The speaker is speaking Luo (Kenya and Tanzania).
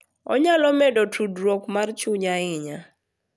Onyalo medo tudruok mar chuny ahinya,